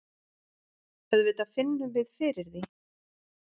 Auðvitað finnum við fyrir því.